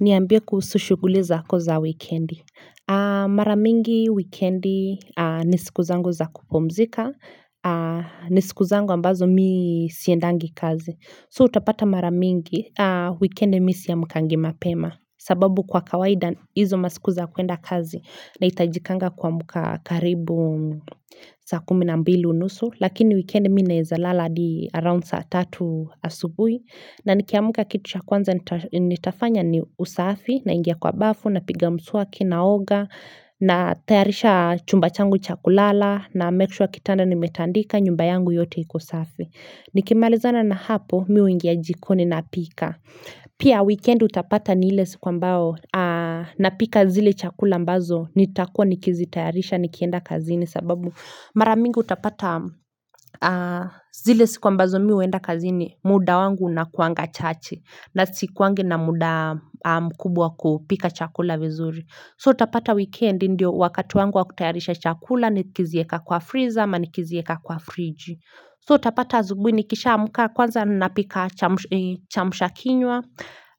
Niambie kuhusu shughuli zako za wikendi. Maramingi wikendi nisikuzangu za kupumzika. Nisikuzangu ambazo mi siendangi kazi. So utapata maramingi wikendi misiamkangi mapema. Sababu kwa kawaida izo masikuza kuenda kazi na itajikanga kuamka karibu saa kuminambilu nusu Lakini weekend mi naezalala adi around saa tatu asubui na nikiamka kitu cha kwanza nita nitafanya ni usafi naingia kwa bafu na piga mswaki naoga na tayarisha chumba changu chakulala na mekshua kitanda ni metandika nyumba yangu yote ikosafi Nikimalizana na hapo mi huingia jikoni napika Pia weekend utapata ni ile siku ambao napika zile chakula ambazo nitakuwa nikizi tayarisha nikienda kazini sababu maramingi utapata zile siku ambazo mi uenda kazini muda wangu unakuanga chache na sikuangi na muda mkubwa kupika chakula vizuri. So utapata weekend ndio wakati wangu wa kutayarisha chakula ni kizieka kwa freezer ama ni kizieka kwa fridge. So utapata zubui ni kishaamka kwanza napika chamsh chamsha kinywa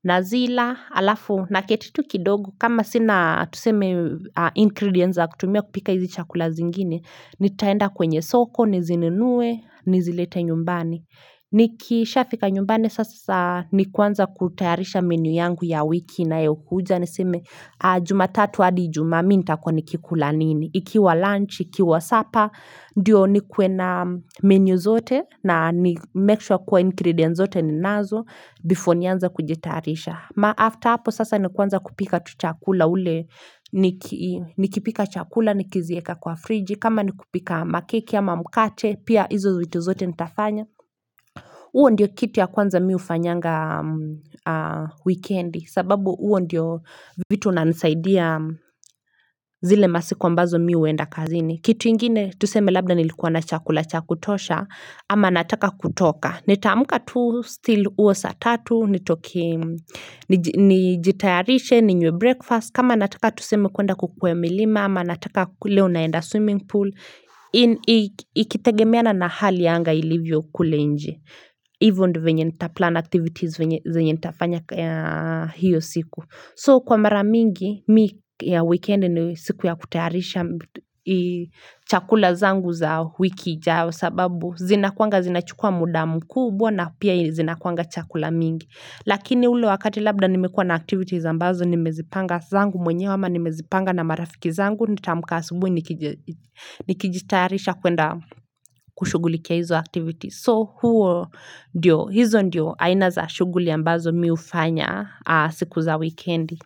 na zila alafu na ketitu kidogo kama sina tuseme ingredients za kutumia kupika hizi chakula zingine. Nitaenda kwenye soko, nizinunue, nizilete nyumbani. Niki Shafika nyumbani sasa ni kuanza kutayarisha menu yangu ya wiki inayokuja niseme jumatatu adi ijumaa minta kua nikikula nini. Ikiwa lunch, ikiwa supper, ndio ni kuenna menu zote na make sure kuwa ingredients zote ni nazo before nianze kujetayarisha. Ma after hapo sasa ni kwanza kupika tuchakula ule, niki nikipika chakula, nikizieka kwa friji, kama nikupika makeki ama mkate, pia izo vitu zote nitafanya. Uo ndio kitu ya kwanza miu fanyanga weekendi sababu uo ndiyo vitu unanisaidia zile masikuambazo miu enda kazini. Kitu ingine tuseme labda nilikuwa na chakula chakutosha ama nataka kutoka. Nitaamka tu still uo saatatu, nitoke niji nijitayarishe, ninywe breakfast, kama nataka tuseme kuenda kukwea milima ama nataka kule unaenda swimming pool, in ikitegemeana na hali ya anga ilivyo kulenje. Hivo ndo venye nita plan activities venye zenye nitafanya hiylo siku So kwa mara mingi, mi ya weekend ni siku ya kutayarisha chakula zangu zao wiki ijau sababu zinakuanga zinachukua muda mkubwa na pia zinakuanga chakula mingi Lakini ule wakati labda nimekuwa na activities ambazo nimezipanga zangu mwenyewe ama nimezipanga na marafiki zangu Nitaamka asubui nikije nikijitayarisha kuenda kushughulikia hizo activities So huo ndio, hizo ndio aina za shuguli ambazo mi ufanya siku za weekendi.